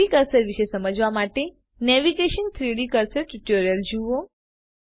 3ડી કર્સર વિશે સમજવા માટે નેવિગેશન 3ડી કર્સર ટ્યુટોરીયલ જુઓ